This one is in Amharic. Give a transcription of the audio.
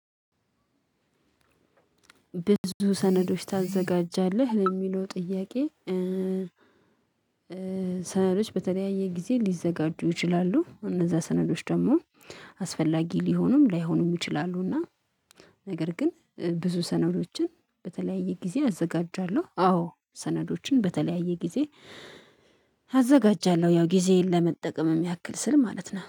ብዙ ሰነዶች ታዘጋጃለህ ለሚለው ጥያቄ? ሰነዶች በተለያየ ጊዜ ሊዘጋጁ ይችላሉ እነዛ ሰነዶች ደግሞ አስፈላጊ ሊሆኑም ላይሆኑም ይችላሉ። እና ነገር ግን ብዙ ሰነዶችን በተለያየ ጊዜ አዘጋጃለሁ። አዎ ሰነዶችን በተለያየ ጊዜ። አዘጋጃለሁ ያው ጊዜየን ለመጠቀም ያክል ስል ማለት ነው